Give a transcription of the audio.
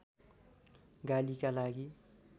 गालीका लागि